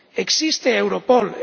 Existe Europol.